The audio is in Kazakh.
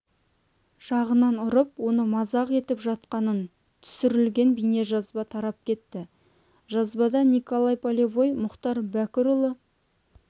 жағынан ұрып оны мазақ етіп жатқаны түсірілген бейнежазба тарап кетті жазбада николай полевой мұхтар бәкірұлы